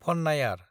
फन्नायार